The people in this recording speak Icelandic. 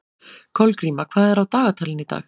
Kolgríma, hvað er á dagatalinu í dag?